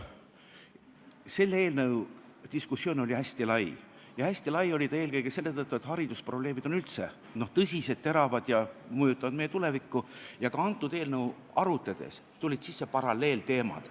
Selle eelnõu diskussioon oli hästi lai eelkõige selle tõttu, et haridusprobleemid on üldse tõsised, teravad ja mõjutavad meie tulevikku ja ka antud eelnõu arutades tulid sisse paralleelteemad.